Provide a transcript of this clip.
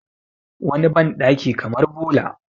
wani bandaki kamar bola